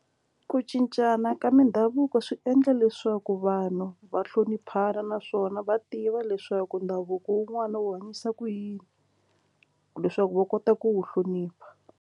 Ku cincana ka mindhavuko swi endla leswaku vanhu va hloniphana naswona va tiva leswaku ndhavuko wun'wana wu hanyisa ku yini leswaku va kota ku wu hlonipha.